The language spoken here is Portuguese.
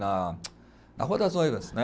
Na, na rua das noivas, né?